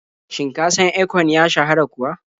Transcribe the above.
Shin ka san Akon ya shahara kuwa?